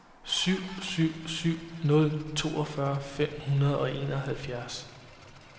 syv syv syv nul toogfyrre fem hundrede og enoghalvfjerds